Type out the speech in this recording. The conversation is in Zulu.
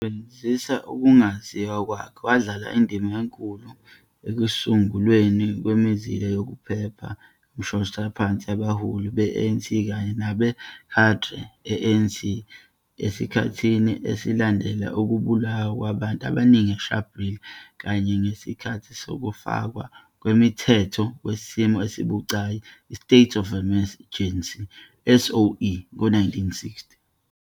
Esebenzisa ukungaziwa kwakhe, wadlala indima enkulu ekusungulweni kwemizila yokuphepha yomshoshaphansi yabaholi be-ANC kanye nama-cadre e-ANC esikhathini esilandela ukubulawa kwabantu abaningi eSharpeville kanye nangesikhathi sokufakwa komthetho wesimo esibucayi i-State of Emergency, SOE, ngo-1960.